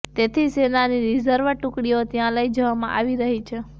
તેથી સેનાની રિઝર્વ ટુકડીઓ ત્યાં લઇ જવામાં આવી રહી છે